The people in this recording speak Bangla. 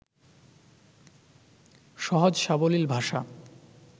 সহজ-সাবলীল ভাষা